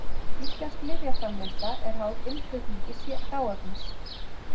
Íslensk lyfjaframleiðsla er háð innflutningi hráefnis.